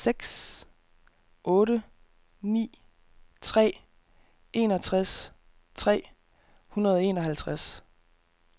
seks otte ni tre enogtres tre hundrede og enoghalvtreds